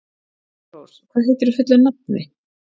Dalrós, hvað heitir þú fullu nafni?